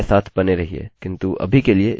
किन्तु अभी के लिए इसको प्रयास करिये इसके साथ जाइये